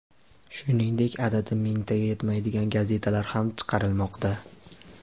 Shuningdek, adadi mingtaga yetmaydigan gazetalar ham chiqarilmoqda.